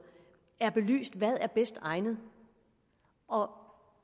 er belyst hvad er bedst egnet og